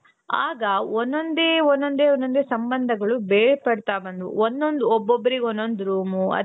ಆಗ ಒಂದೊಂದೇ ಒಂದೊಂದೇ ಒಂದೊಂದೇ ಸಂಬಂಧಗಳು ಬೇರ್ಪಡ್ತಾ ಹೋದ್ವು ಒಂದೊಂದು ಒಬ್ಬೊಬ್ಬರಿಗೆ ಒಂದೊಂದು ರೂಮು.